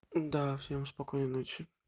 да всем спокойной ночи